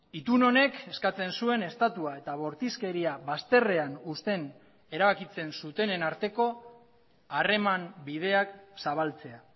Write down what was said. itun honek eskatzen zuen estatua eta bortizkeria bazterrean uzten erabakitzen zutenen arteko harreman bideak zabaltzea